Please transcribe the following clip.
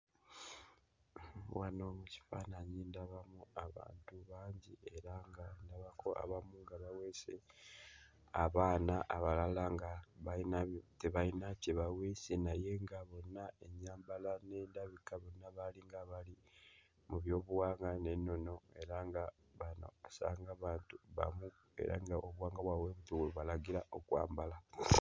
Wano mu kifaananyi ndamu abantu bangi era nga ndabako abamu nga baweese abaana abalala nga bayina tebayina kye baweese era nga bonna ennyambala n'endabika bonna baali nga abaali mu byobuwangwa n'ennono era nga bano onsanga batu bamu era ng'obuwangwa bwabwe bwe butyo bwe bubalagira okwambala.